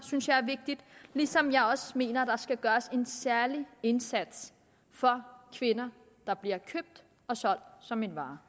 ligesom jeg også mener at der skal gøres en særlig indsats for kvinder der bliver købt og solgt som en vare